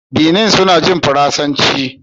Benin suna jin Faransanci